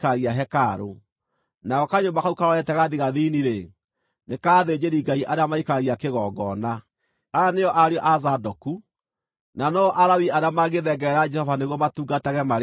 nako kanyũmba kau karorete gathigathini-rĩ, nĩ ka athĩnjĩri-Ngai arĩa maikaragia kĩgongona. Aya nĩo ariũ a Zadoku, na no-o Alawii arĩa mangĩthengerera Jehova nĩguo matungatage marĩ mbere yake.”